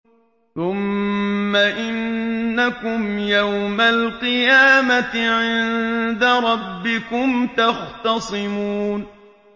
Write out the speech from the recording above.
ثُمَّ إِنَّكُمْ يَوْمَ الْقِيَامَةِ عِندَ رَبِّكُمْ تَخْتَصِمُونَ